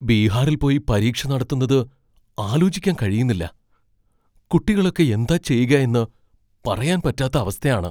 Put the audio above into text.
ബീഹാറിൽ പോയി പരീക്ഷ നടത്തുന്നത് ആലോചിക്കാൻ കഴിയുന്നില്ല, കുട്ടികളൊക്കെ എന്താ ചെയ്യുക എന്ന് പറയാൻ പറ്റാത്ത അവസ്ഥയാണ്.